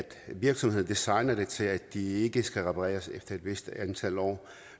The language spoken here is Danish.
virksomheden designer dem til at de ikke skal repareres efter et vist antal år